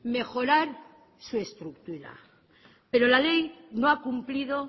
mejorar su estructura pero la ley no ha cumplido